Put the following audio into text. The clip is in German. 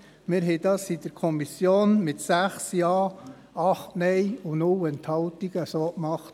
Wir haben dies in der Kommission mit 6 Ja, 8 Nein und 0 Enthaltungen so gemacht.